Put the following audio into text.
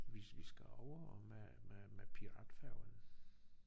Vi vi skal over med med med piratfærgen